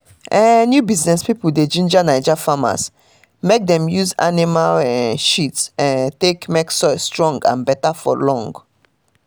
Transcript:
new business um pipo dey ginger naija farmers mek dem use animal um shit um take mek soil strong and beta for long.